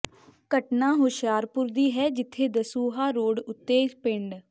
ਘਟਨਾ ਹੁਸ਼ਿਆਰਪੁਰ ਦੀ ਹੈ ਜਿੱਥੇ ਦਸੂਹਾ ਰੋਡ ਉੱਤੇ ਪਿੰਡ